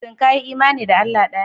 Shin ka yi imani da Allah ɗaya?